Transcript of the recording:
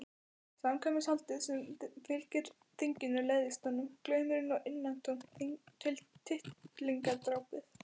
Samkvæmishaldið sem fylgir þinginu leiðist honum, glaumurinn og innantómt tittlingadrápið.